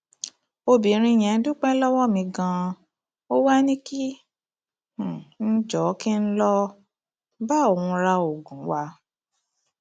obìnrin yẹn dúpẹ lọwọ mi ganan ó wàá ní kí um n jọọ kí n lọ um bá òun ra oògùn wa